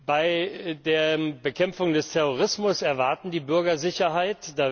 Bei der Bekämpfung des Terrorismus erwarten die Bürger Sicherheit.